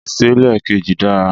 Ìṣẹ̀lẹ̀ kejì dára.